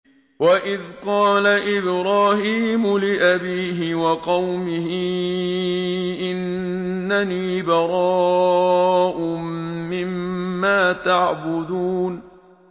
وَإِذْ قَالَ إِبْرَاهِيمُ لِأَبِيهِ وَقَوْمِهِ إِنَّنِي بَرَاءٌ مِّمَّا تَعْبُدُونَ